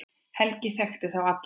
Helgi þekkti þá alla.